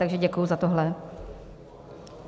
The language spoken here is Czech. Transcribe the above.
Takže děkuji za tohle.